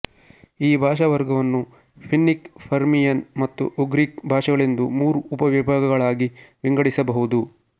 ಈ ಭಾಷಾವರ್ಗವನ್ನು Finnic Permian ಮತ್ತು ಉಗ್ರಿಕ್ ಭಾಷೆಗಳೆಂದು ಮೂರು ಉಪವಿಭಾಗಗಳನ್ನಾಗಿ ವಿಂಗಡಿಸಬಹುದು